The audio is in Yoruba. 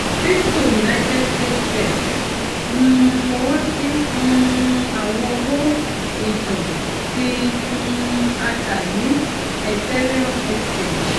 crypto united states sec um fọwọsi um awọn owo itan ti um a ta ni ethereum exchange